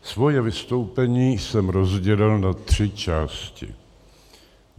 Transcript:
Svoje vystoupení jsem rozdělil na tři části.